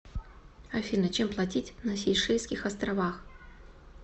афина чем платить на сейшельских островах